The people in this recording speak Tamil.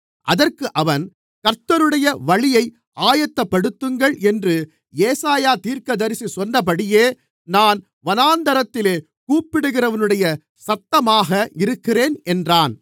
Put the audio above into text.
அதற்கு அவன் கர்த்தருக்கு வழியை ஆயத்தப்படுத்துங்கள் என்று ஏசாயா தீர்க்கதரிசி சொன்னபடியே நான் வனாந்திரத்திலே கூப்பிடுகிறவனுடைய சத்தமாக இருக்கிறேன் என்றான்